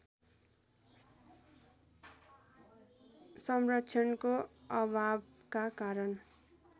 संरक्षणको अभावका कारण